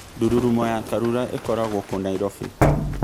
ndũrũrumo ya Karura ĩkoragwo kũ Nairobi